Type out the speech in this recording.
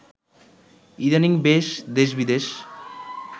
ইদানিং বেশ দেশবিদেশ